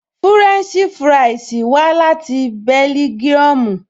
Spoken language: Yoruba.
Fúrẹ́ǹṣì fúráìsì wá láti bẹ́lígíọmù